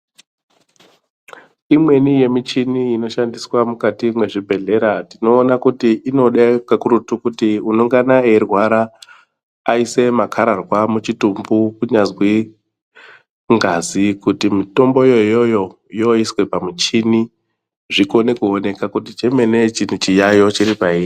Imweni yemichini inoshandiswa mukati mezvibhedhlera tinoona kuti inoda kakurutu kuti unongana eirwara aise makararwa muchitumbu kunyazwi ngazi kuti mutomboyo iyoyo yoiswe pamuchini zvikone kuoneka kuti chemene chiyaiyo chiro painyi.